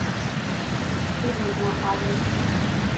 энигма адрес